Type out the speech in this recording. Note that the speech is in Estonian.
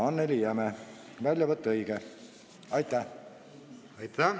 Aitäh!